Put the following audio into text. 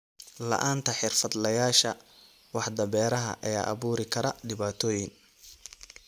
La'aanta xirfadlayaasha waaxda beeraha ayaa abuuri kara dhibaatooyin.